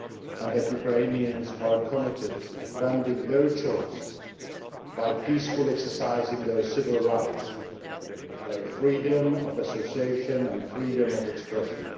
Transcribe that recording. and that Ukrainians are committed to defending their choice by peacefully exercising their civil rights, their freedom of association and freedom of expression.